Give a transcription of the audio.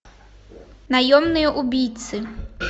наемные убийцы